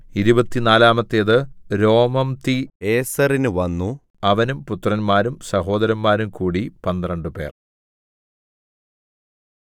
ഇരുപത്തിനാലാമത്തേത് രോമംതിഏസെരിന് വന്നു അവനും പുത്രന്മാരും സഹോദരന്മാരും കൂടി പന്ത്രണ്ടുപേർ